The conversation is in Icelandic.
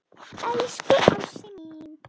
Elsku ástin mín.